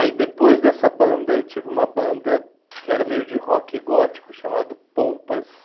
Aí depois dessa banda, eu tive uma banda que era meio de rock gótico, chamado Pompas.